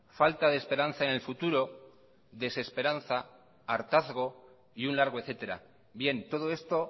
falta de esperanza en el futuro desesperanza hartazgo y un largo etcétera bien todo esto